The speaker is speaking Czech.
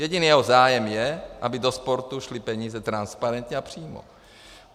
Jediný jeho zájem je, aby do sportu šly peníze transparentně a přímo.